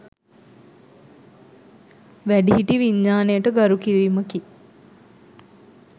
වැඩිහිටි විඥානයට ගරු කිරිමකි.